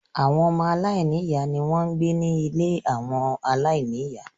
Àwọn ọmọ Aláìní-ìyá ni wọ́n ń gbé ní ilé àwọn aláìní-ìyá